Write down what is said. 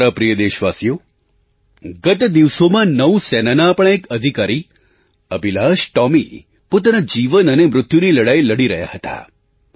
મારા પ્રિય દેશવાસીઓ ગત દિવસો નૌ સેનાના આપણા એક અધિકારી અભિલાષ ટૉમી પોતાના જીવન અને મૃત્યુની લડાઈ લડી રહ્યા હતા